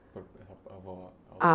A avó? Ah